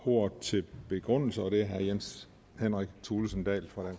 ordet til begrundelse og det er herre jens henrik thulesen dahl fra